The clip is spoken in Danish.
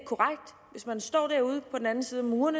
hvis man står derude på den anden side af muren